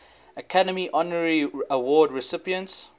academy honorary award recipients